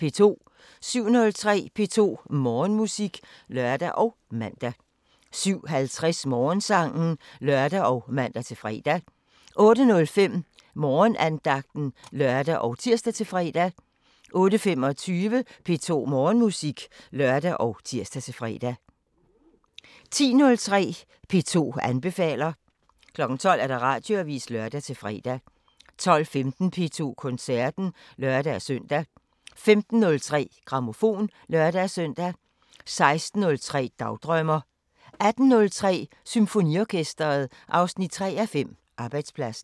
07:03: P2 Morgenmusik (lør og man) 07:50: Morgensangen (lør og man-fre) 08:05: Morgenandagten (lør og tir-fre) 08:25: P2 Morgenmusik (lør og tir-fre) 10:03: P2 anbefaler 12:00: Radioavisen (lør-fre) 12:15: P2 Koncerten (lør-søn) 15:03: Grammofon (lør-søn) 16:03: Dagdrømmer 18:03: Symfoniorkesteret 3:5 – Arbejdspladsen